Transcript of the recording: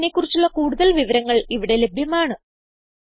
ഈ മിഷനെ കുറിച്ചുള്ള കുടുതൽ വിവരങ്ങൾ ഇവിടെ ലഭ്യമാണ്